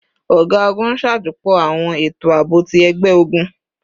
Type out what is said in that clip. Ọga-ogun n ṣajọpọ awọn eto aabo ti ẹgbẹ-ogun